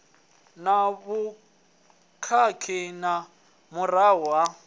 na vhukhakhi nga murahu ha